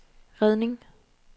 redning